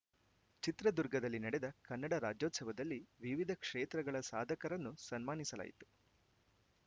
ಚಿತ್ರದುರ್ಗದಲ್ಲಿ ನಡೆದ ಕನ್ನಡ ರಾಜ್ಯೋತ್ಸವದಲ್ಲಿ ವಿವಿಧ ಕ್ಷೇತ್ರಗಳ ಸಾಧಕರನ್ನು ಸನ್ಮಾನಿಸಲಾಯಿತು